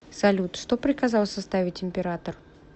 салют что приказал составить император